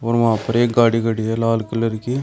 और वहां पर एक गाड़ी खड़ी है लाल कलर की।